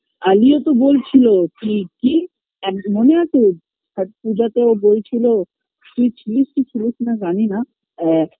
আলীও তো বলছিলো কি কি এক মনে আছে ধা পূজা তে বলছিলো তুই ছিলিস কি ছিলিস না জানি না এ